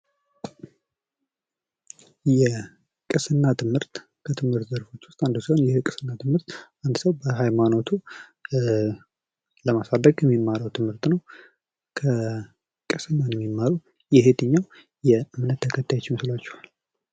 የቅስና ትምህርት ከትምህርት አይነቶች ውስጥ አንዱ ሲሆን ይህ የቅስና ትምህርት አንድ ሰው በሃይማኖቱ ለማሳደግ የሚማረው ትምህርት ነው። የቅስና ትምህርት የየትኛውም እምነት ተከታዮች ይመስላችኋል?